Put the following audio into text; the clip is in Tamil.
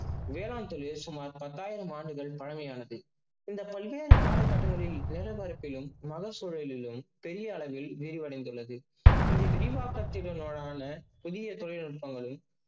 வேளாண் தொழில் சுமார் பத்தாயிரம் ஆண்டுகள் பழமையானது. இந்த பல்வியல் கால கட்டத்தில் வேலை வாழ்க்கையிலும் மத சூழலிலும் பெரிய அளவில் விரிவடைந்துள்ளது. இந்த புதிய தொழில் நுட்பங்களில்